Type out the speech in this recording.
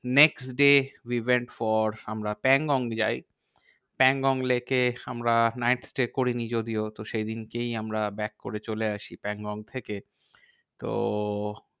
Next day we went for আমরা প্যাংগং যাই। Pangong lake এ আমরা night stay করিনি যদিও তো সেইদিনকেই আমরা back করে চলে আসি প্যাংগং থেকে। তো